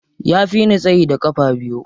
Ya fi ni tsayi da ƙafa biyu.